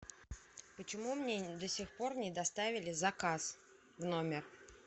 почему мне до сих пор не доставили заказ в номер